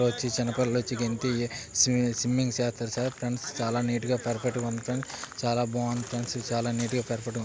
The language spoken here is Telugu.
వోచి చిన్న పిల్లలొచ్చి గెంతి సి-సిమ్మింగ్ చేస్తారు సర్ ఫ్రెండ్స్ చాల నీట్ పర్ఫెక్ట్ ఉంది ప్రైస్ చాల బాగుంది ఫ్రెండ్స్ చాల నీట్ పర్ఫెక్ట్ వచ్చి--